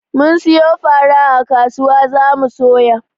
Mun siyo fara a kasuwa za mu soya.